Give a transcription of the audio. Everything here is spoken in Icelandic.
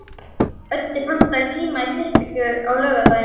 Öddi, pantaðu tíma í klippingu á laugardaginn.